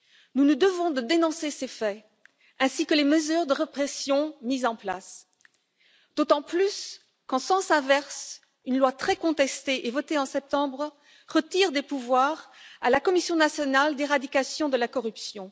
Nous nous devons de dénoncer ces faits ainsi que les mesures de répression mises en place. D'autant plus, qu'en sens inverse, une loi très contestée et votée en septembre retire des pouvoirs à la commission nationale pour l'éradication de la corruption.